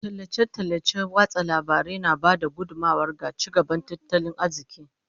Tallace-tallacen watsa labarai na ba da gudummawa ga ci gaban tattalin arziki.